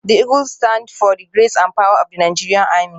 The eagle stands for the grace and power of the Nigeria army.